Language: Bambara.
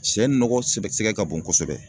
Sɛ nɔgɔ sɛbɛ sɛbɛ ka bon kosɛbɛ